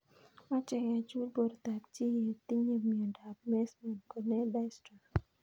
Mache kechul portab chii ye tinye miondop Meesman corneal dystrophy